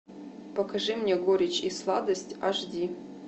покажи мне горечь и сладость аш ди